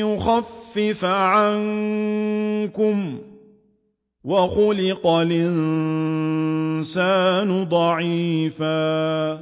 يُخَفِّفَ عَنكُمْ ۚ وَخُلِقَ الْإِنسَانُ ضَعِيفًا